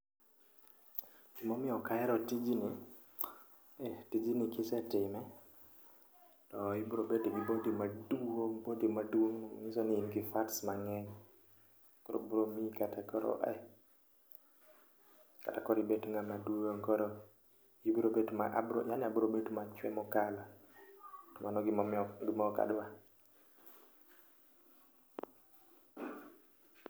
Gima omiyo ok ahero tijni, eh tijni ka isetime to ibiro bedo gi body maduong', body maduong' manyiso ni in gi fats mang'eny. Koro biro miyi kata koro ah, kata koro ibed ng'ama duong' eh koro ibiro bet yaani abiro bet machwe mokalo to mano gima ok adwa.